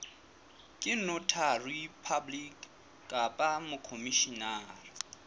ke notary public kapa mokhomishenara